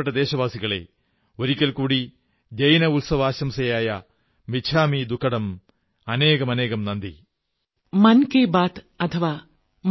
എന്റെ പ്രിയപ്പെട്ട ദേശവാസികളേ ഞാൻ ഒരിക്കൽ കൂടി മിച്ഛാമി ദുക്കഡം